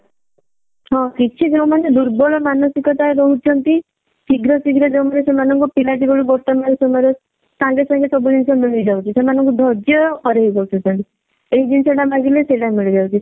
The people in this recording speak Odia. ହଁ କିଛି ଯଉମାନେ ଦୁର୍ବଳ ମାନସିକତା ରହୁଛନ୍ତି ଶୀଘ୍ର ଶୀଘ୍ର ଯଉମାନେ ସେମାନଙ୍କ ପିଲା ଜୀବନ ବର୍ତମାନ ସମୟ ରେ ସାଙ୍ଗେ ସାଙ୍ଗେ ସବୁ ଜିନିଷ ମିଳିଯାଉଛି ସେମାନଙ୍କ ଧର୍ଯ୍ୟ ହରେଇ ବସୁଛନ୍ତି ଏଇ ଜିନିଷ ଟା ମାଗିଲେ ପିଲା ମିଳିଯାଉଛି